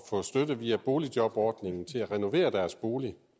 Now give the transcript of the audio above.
få støtte via boligjobordningen til at renovere deres bolig